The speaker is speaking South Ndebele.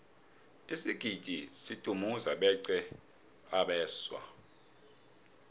isigidi sidumuze beqa abeswa